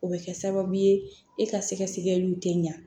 O bɛ kɛ sababu ye e ka sɛgɛsɛgɛliw tɛ ɲa